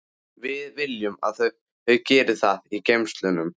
Við viljum að þau geri það í geymslunum.